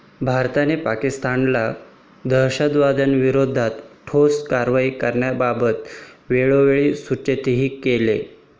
भारताने पाकिस्तानला दहशतवादाविरोधात ठोस कारवाई करण्याबाबत वेळोवेळी सूचितही केले.